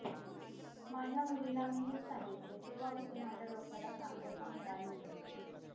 माझ्या मुलीला मी हेच सांगीतले तेव्हा कुठे माझ्या डोक्याला शांतता मिळालीय